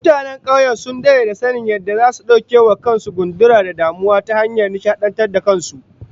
Mutanen kauye sun dade da sanin yadda zasu dauke wa kan su gundura da damuwa ta hanyar nishadantar da kan su